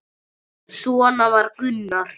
Svona var Gunnar.